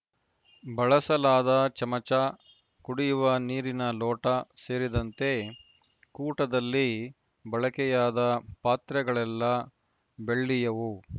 ಬಳಸಲಾದ ಚಮಚ ಕುಡಿಯುವ ನೀರಿನ ಲೋಟ ಸೇರಿದಂತೆ ಕೂಟದಲ್ಲಿ ಬಳಕೆಯಾದ ಪಾತ್ರೆಗಳೆಲ್ಲ ಬೆಳ್ಳಿಯವು